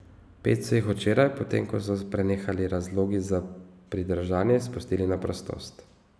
Pet so jih včeraj, potem ko so prenehali razlogi za pridržanje, izpustili na prostost.